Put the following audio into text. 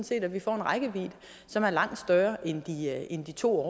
set at vi får en rækkevidde som er langt større end de to